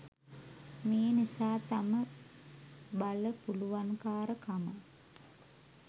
මේ නිසා තම බල පුළුවන්කාරකම